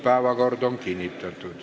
Päevakord on kinnitatud.